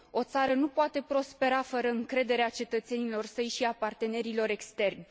O țară nu poate prospera fără încrederea cetățenilor săi și a partenerilor externi!